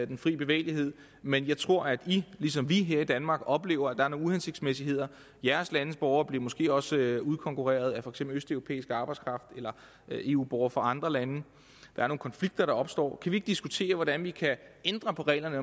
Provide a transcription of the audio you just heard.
den frie bevægelighed men jeg tror at i ligesom vi her i danmark oplever at der er nogle uhensigtsmæssigheder jeres landes borgere bliver måske også udkonkurreret af for eksempel østeuropæisk arbejdskraft eller af eu borgere fra andre lande så der opstår nogle kan vi diskutere hvordan vi kan ændre på reglerne